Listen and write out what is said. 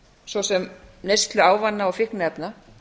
svo sem neyslu ávana og fíkniefna